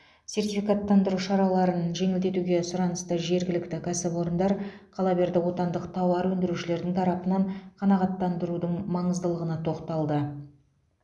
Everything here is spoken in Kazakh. сертификаттандыру шараларын жеңілдетуге сұранысты жергілікті кәсіпорындар қала берді отандық тауар өндірушілердің тарапынан қанағаттандырудың маңыздылығына тоқталды